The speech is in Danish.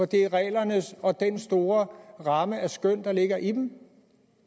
det er reglerne og den store ramme for skøn der ligger i dem